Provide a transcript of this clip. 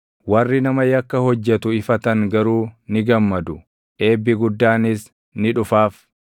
Warri nama yakka hojjetu ifatan garuu ni gammadu; eebbi guddaanis ni dhufaaf.